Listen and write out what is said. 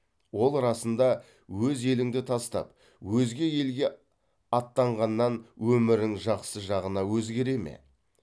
ол расында өз еліңді тастап өзге елге аттанғаннан өмірің жақсы жағына өзгере ме